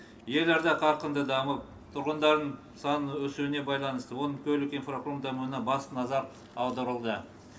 елорда қарқынды дамып тұрғындардың саны өсуіне байланысты оның көлік инфрақұрылым дамуына басты назар аударылды